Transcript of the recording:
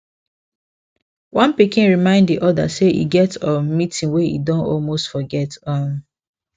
one pikin remind the other say e get um meeting wey e don almost forget um